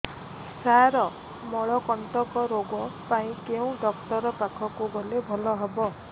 ସାର ମଳକଣ୍ଟକ ରୋଗ ପାଇଁ କେଉଁ ଡକ୍ଟର ପାଖକୁ ଗଲେ ଭଲ ହେବ